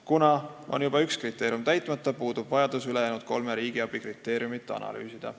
Kuna üks kriteerium on kindlasti täitmata, puudub vajadus ülejäänud kolme riigiabi kriteeriumit analüüsida.